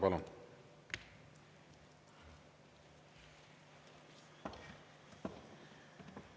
Palun!